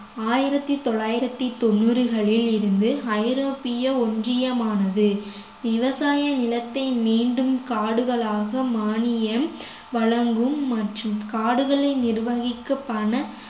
ஆயிரத்தி தொள்ளாயிரத்தி தொண்ணூறுகளில் இருந்து ஐரோப்பிய ஒன்றியமானது விவசாய நிலத்தை மீண்டும் காடுகளாக மானியம் வழங்கும் மற்றும் காடுகளை நிர்வகிக்க பண